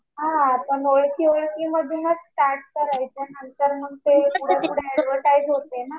हा पण ओळखी ओळखींमधूनच स्टार्ट करायचं ना. नंतर मग ते पुढं पुढं ऍडव्हर्टाइझ होते ना.